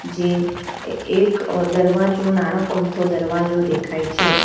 જે એ એક અહ દરવાજો નાણાક અમથો દરવાજો દેખાય છે.